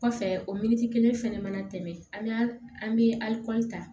Kɔfɛ o miiti kelen fɛnɛ mana tɛmɛ an bɛ alikɔri ta